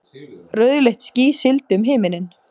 Rauðleitt ský sigldi um himininn.